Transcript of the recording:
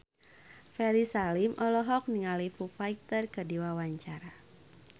Ferry Salim olohok ningali Foo Fighter keur diwawancara